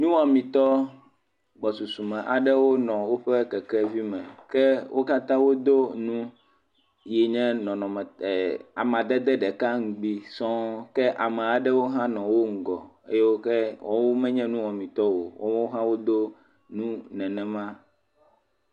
Nuwɔmitɔ gbɔsusume aɖe wonɔ woƒe kekevi me. Ke wo katã wodo nu yi nye nɔnɔme amadede ɖeka ŋgbui sɔŋ ke ame aɖe hã nɔ wo ŋgɔ eyi ke menye nuwɔmitɔ o woawo hã wodo nu nenema.